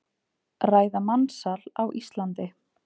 Ræða mansal á Íslandi